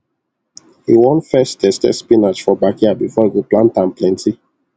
he won first test test spinach for backyard for e go plant am plenty